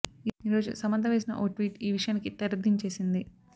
ఈ రోజు సమంత వేసిన ఓ ట్వీట్ ఈ విషయానికి తెరదించేసింది